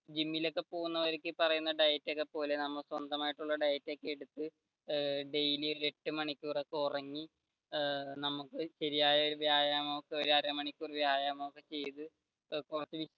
ജിമ്മിൽ ഒക്കെ പോകുന്നവർക്ക് ഈ പറയുന്ന diet ഒക്കെ പോലെ നമ്മൾ സ്വന്തം ആയിട്ടുള്ള diet ഒക്കെയെടുത്തു daily എട്ട് മണിക്കൂർ ഒക്കെ ഉറങ്ങി നമുക്ക് ശരിയായ വ്യായാമം ഒരു അരമണിക്കൂർ വ്യായാമം ഒക്കെ ചെയ്തു